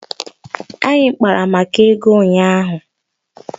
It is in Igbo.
Anyị kpara maka ego ụnyaahụ